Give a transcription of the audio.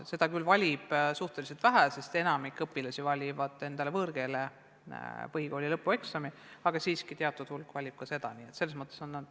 Seda küll valib suhteliselt vähe õpilasi, sest enamik valib endale võõrkeele põhikooli lõpueksami, aga siiski teatud hulk teeb ka seda eksamit.